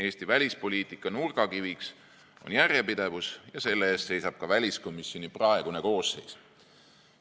Eesti välispoliitika nurgakiviks on järjepidevus ja selle eest seisab ka väliskomisjoni praegune koosseis.